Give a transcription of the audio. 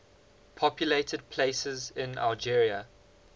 populated places in algeria